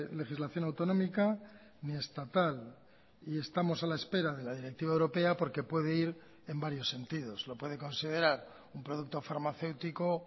legislación autonómica ni estatal y estamos a la espera de la directiva europea porque puede ir en varios sentidos lo puede considerar un producto farmacéutico